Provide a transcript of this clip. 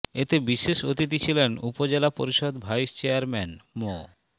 এতে বিশেষ অতিথি ছিলেন উপজেলা পরিষদ ভাইস চেয়ারম্যান মো